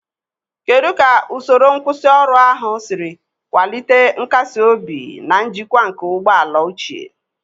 Kedu ka usoro nkwusioru ahụ siri kwalite nkasi obi na njikwa nke ụgbọ ala ochie?